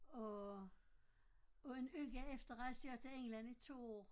Og og en uge efter rejste jeg til England i 2 år